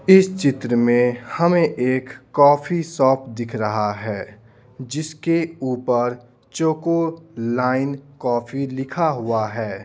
इस चित्र में हमें एक कॉफी शॉप दिख रहा है जिसके ऊपर चोको लाइन कॉफी लिखा हुआ है।